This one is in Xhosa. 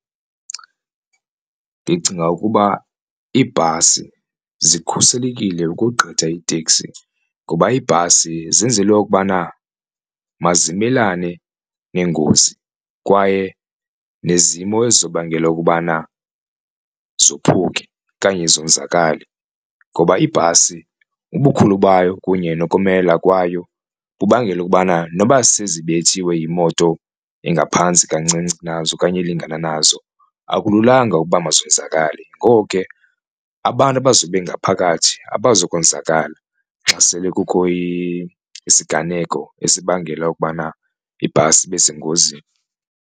Ndicinga ukuba iibhasi zikhuselekile ukogqitha iiteksi ngoba iibhasi zenzelwe okubana mazimelane nengozi, kwaye nezimo ezizobangela ukubana zophuke okanye zonzakale. Ngoba ibhasi ubukhulu bayo kunye nokomelela kwayo kubangela ukubana noba sezibethiwe yimoto engaphantsi kancinci kunazo okanye elingana nazo akululanga ukuba mazonzakale. Ngoko ke abantu abazobe bengaphakathi abazokonzakala xa sele kukho isiganeko esibangela ukubana ibhasi ibe sengozini.